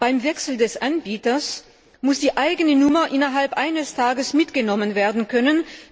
Beim Wechsel des Anbieters muss die eigene Nummer innerhalb eines Tages mitgenommen werden können.